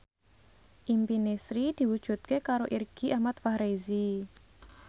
impine Sri diwujudke karo Irgi Ahmad Fahrezi